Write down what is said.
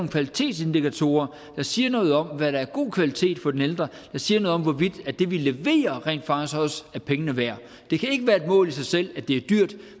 kvalitetsindikatorer der siger noget om hvad der er god kvalitet for den ældre der siger noget om hvorvidt det vi leverer rent faktisk også er pengene værd det kan ikke være et mål i sig selv at det er dyrt